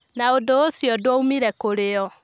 Na ũndũ ũcio ndwoimire kũrĩ o.